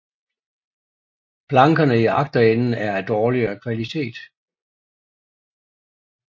Plankerne i agterenden er af dårligere kvalitet